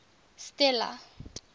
stella